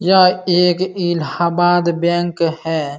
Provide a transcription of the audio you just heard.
यह एक इलाहाबाद बैंक है।